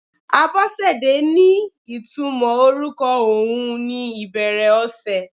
Abosede ní ìtumò orúkọ ohun ni ìbẹ̀rẹ̀ ọ̀sẹ̀.